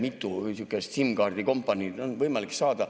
Mitu sihukest SIM‑kaardi kompaniid on võimalik saada.